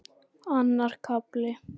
Annar kafli